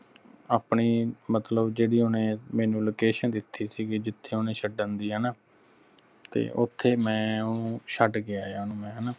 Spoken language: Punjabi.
ਆਪਣੀ ਮਤਲਬ ਜਿਹੜੀ ਓਹਨੇ ਮੈਨੂੰ location ਦਿਤੀ ਸੀਗੀ ਜਿੱਥੇ ਓਹਨੇ ਛੱਡਣ ਦੀ ਹਣਾ ਤੇ ਓਥੇ ਮੈਂ ਓਹਨੂੰ ਚਡ ਕੇ ਆ ਆਇਆ ਓਹਨੂੰ ਮੈਂ ਹਣਾ